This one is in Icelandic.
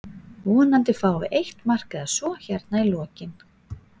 Vonandi fáum við eitt mark eða svo hérna í lokinn.